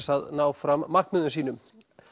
að ná fram markmiðum sínum